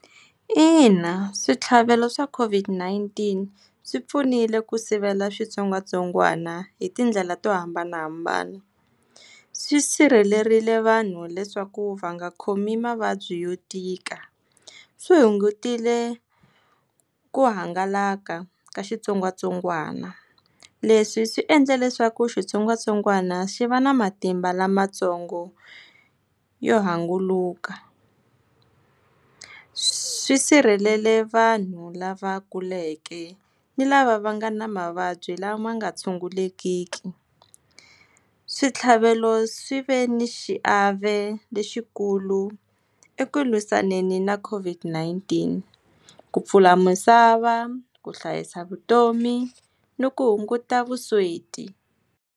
Ina, switlhavelo swa COVID-19 swi pfunile ku sivela switsongwatsongwana hi tindlela to hambanahambana. Swisirhelerile vanhu leswaku va nga khomi mavabyi yo tika. wi hungutiwile ku hangalaka ka xitsongwatsongwana, leswi swi endla leswaku xitsongwatsongwana xi va na matimba lamatsongo yo hangunuka. Swisirheleli vanhu lava kuleke ni lava va nga na mavabyi lama nga tshungulekiki. Switlhavelo swi ve ni xiave lexikulu eku lwisanani na COVID-19, ku pfula misava ku hlayisa vutomi ni ku hunguta vusweti.